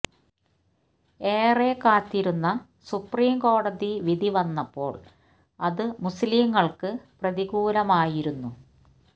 ഏറെ കാത്തിരുന്ന സുപ്രീം കോടതി വിധി വന്നപ്പോൾ അത് മുസ് ലിംകൾക്ക് പ്രതികൂലമായിരുന്നു